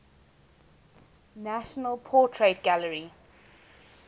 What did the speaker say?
national portrait gallery